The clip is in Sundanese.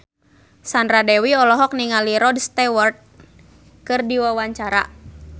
Sandra Dewi olohok ningali Rod Stewart keur diwawancara